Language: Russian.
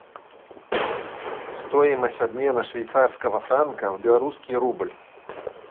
стоимость обмена швейцарского франка в белорусский рубль